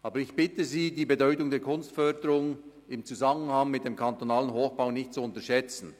Aber ich bitte Sie, die Bedeutung der Kunstförderung im Zusammenhang mit dem kantonalen Hochbau nicht zu unterschätzen.